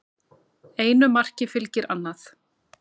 Einu marki fylgir annað